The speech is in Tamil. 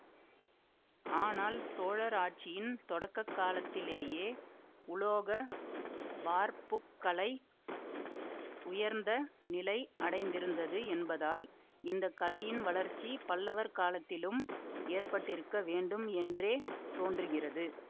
ஆனால் சோழர் ஆட்சியின் தொடக்க காலத்திலேயே உலோக வார்ப்புக்கலை உயர்ந்த நிலை அடைந்திருந்தது என்பதால் இந்த கலையின் வளர்ச்சி பல்லவர் காலத்திலும் ஏற்பட்டிருக்க வேண்டும் என்றே தோன்றுகிறது